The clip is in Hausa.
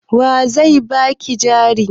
Wa zai ba ki jari?